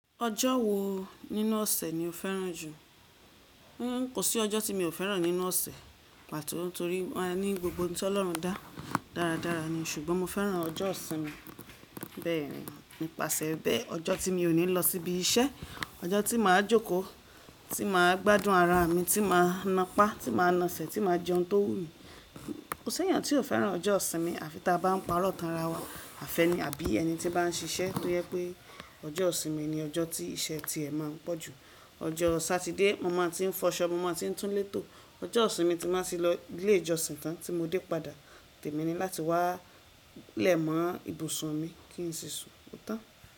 Ọjọ́ wo nínú ọ̀sẹ̀ ni o fẹ́ràn jù? Kò sí ọjọ́ tí mi ò fẹ́ràn nínú ọ̀sẹ̀, pàtó torí wọ́n a ní gbogbo ohun tí Ọlọ́run dá dáradára ni, ṣùgbọ́n mo fẹ́ràn ọjọ́ ìsinmi. Bẹ́ẹ̀ni, nípasẹ̀ bẹ́ẹ̀, ọjọ́ tí mi ò ní lọ sí ibi iṣẹ́, ọjọ́ tí màá jókòó, tí màá gbádùn ara mi, tí màá nápa, tí màá na sẹ̀, tí màá jẹun tó wú mi. Kò sẹ́yan tí ò fẹ́ràn ọjọ́ ìsinmi, à fi táa bá ń parọ́ tànrà wa. Àfẹ́ni àbí ẹni tí bá ń ṣiṣẹ́ tó jẹ pé ọjọ́ ìsinmi ni ọjọ́ tí iṣẹ́ ti ẹ̀ máa ń pọ̀ jù. Ọjọ́ Satide, mo máa ti ń fọṣọ, mo máa ti ń tún létò, ọjọ́ ìsinmi tí màá ti lọ ilé ìjọsìn tán tí mó dé padà, tèmi ni láti wá lẹ̀ mọ́ ibùsùn mi kí n sì sun, ò tán?